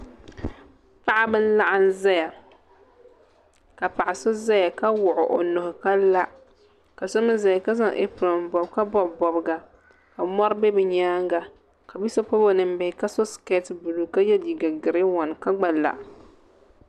Paɣaba n laɣim zaya ka paɣa so zaya ka wuɣi o nuhi ka la ka so mee zaya ka zaŋ apiron bobi ka bobi bobga ka mori be bɛ nyaanga ka bia so pobi o ninbihi ka so siketi buluu ka ye liiga girin wan ka gba la.